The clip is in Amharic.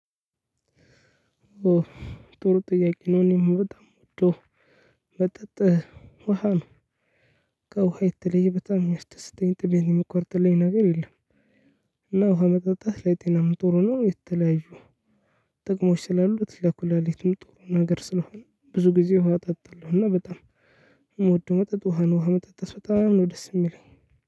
ጥሩ ጥያቄ ነው። እኔም በጣም ምወዶ መጠጥ ውሃ ነው። ከውሃ የተለየ በጣም የሚያስደስተኝ ጥሜን የሚቆርጥልኝ ነገር የለም። እና ውሃ መጠጣት ለጤናም ጥሩ ነው። የተለያዩ ጥቅሞች ስላሉት ለኩላሊትም ጥሩ ነገር ስለሆነ ብዙ ጊዜ ውሃ እጠጣለሁ። እና በጣም የምወደው መጠጥ ውሃ ነው። ውሃ መጠጣት በጣም ነው ደስ የሚለኝ